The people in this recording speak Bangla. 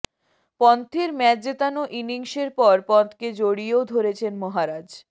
পন্থের ম্যাচ জেতানো ইনিংসের পর পন্থকে জড়িয়েও ধরেছেন মহারাজ